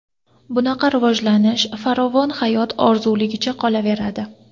Bunaqada rivojlanish, farovon hayot orzuligicha qolaveradi.